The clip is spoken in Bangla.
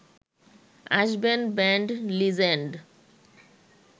আসবেন ব্যান্ড লিজেন্ড